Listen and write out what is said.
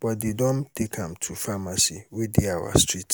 but dey don take am to the pharmacy wey dey our street